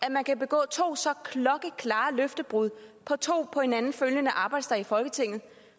at man kan begå to så klokkeklare løftebrud på to på hinanden følgende arbejdsdage i folketinget